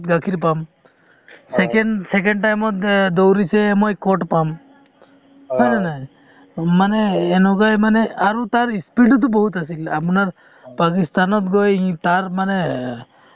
গিলাছ এটাত গাখীৰ পাম second second time ত দৌৰিছে মই পাম। হয় নে নাই মানে এনেকুৱাই মানে আৰু তাৰ speed ও টো বহুত আছিল আপোনাৰ পাকিস্তানত গৈই তাৰ মানে